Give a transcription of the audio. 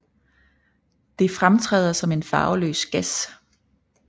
Det fremtræder som en farveløs gas